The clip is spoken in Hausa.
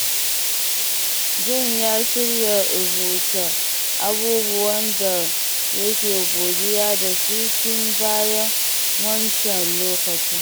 John ya shirya rubuta abubuwan da yake godiya da su tun bayan wancan lokacin.